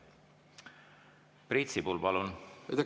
Priit Sibul, palun!